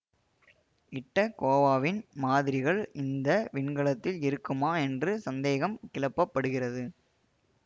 இட்டக்கோவாவின் மாதிரிகள் இந்த விண்கலத்தில் இருக்குமா என்று சந்தேகம் கிளப்பப்படுகிறது